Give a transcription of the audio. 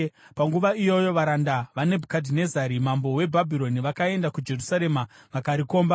Panguva iyoyo varanda vaNebhukadhinezari mambo weBhabhironi vakaenda kuJerusarema vakarikomba,